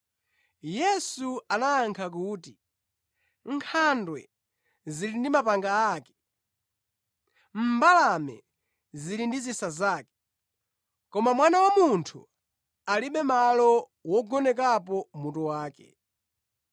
Yesu anayankha kuti, “Nkhandwe zili ndi mapanga ake, mbalame zili ndi zisa zake, koma Mwana wa Munthu alibe malo wogonekapo mutu wake.”